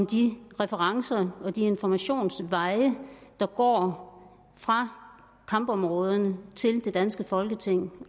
de referencer og informationsveje der går fra kampområderne til det danske folketing